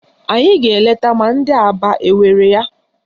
Anyị ga-eleta ma ndị Aba enwere ya